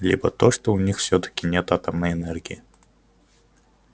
либо то что у них всё-таки нет атомной энергии